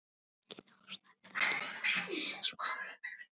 Engin ástæða til að gera drama úr svona smámunum.